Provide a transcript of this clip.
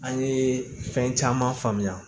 An ye fɛn caman faamuya